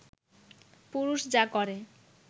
পুরুষ যা করে